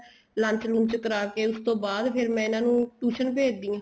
lunch lunch ਕਰਾਕੇ ਉਸ ਤੋਂ ਬਾਅਦ ਫ਼ੇਰ ਮੈਂ ਇਹਨਾ ਨੂੰ tuition ਭੇਜਦੀ ਆ